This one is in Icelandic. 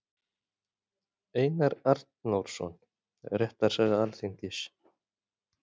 Einar Arnórsson: Réttarsaga Alþingis.